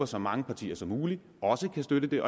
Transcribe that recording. så mange partier som muligt også kan støtte det